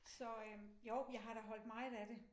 Så øh jo jeg har da holdt meget af det